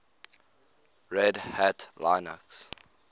red hat linux